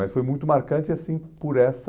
Mas foi muito marcante, assim, por essa...